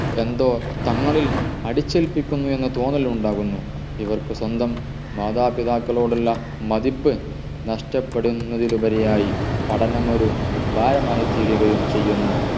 എന്തോ തങ്ങളിൽ അടിച്ചേൽപ്പിക്കുന്നു എന്ന തോന്നൽ ഉണ്ടാകുന്നു ഇവർക്ക് സ്വന്തo മാതാപിതാക്കളോടുള്ള മതിപ്പ് നഷ്ടപ്പെടുന്നത്തിൽ ഉപരിയായി പഠനം ഒരു ഭാരമായിത്തീരുകയും ചെയ്യുന്നു